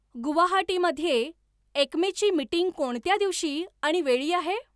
गुवाहाटी मध्ये एक्मेची मीटिंग कोणत्या दिवशी आणि वेळी आहे